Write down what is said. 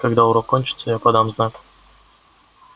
когда урок кончится я подам знак